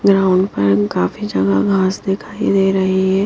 Ground पर काफी जगह घास दिखाई दे रही है।